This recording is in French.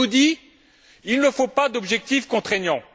On nous dit qu'il ne faut pas d'objectif contraignant.